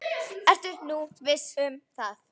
Ertu nú viss um það?